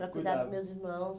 Para cuidar dos meus irmãos.